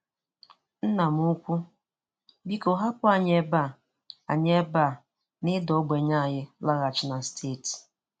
Nna m ukwu, biko hapụ anyị ebe a anyị ebe a na ịda ogbenye anyị laghachi na steeti.